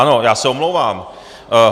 Ano, já se omlouvám.